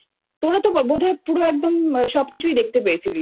তোরা তো বোধহয় পুরো একদম সবকিছুই দেখতে পেয়েছিলিস